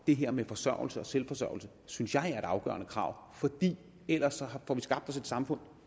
det her med forsørgelse og selvforsørgelse synes jeg er et afgørende krav for ellers får vi skabt os et samfund